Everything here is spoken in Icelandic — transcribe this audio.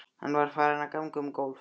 Hann var farinn að ganga um gólf.